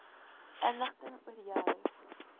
inligting oor jou